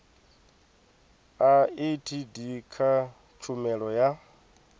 a etd kha tshumelo ya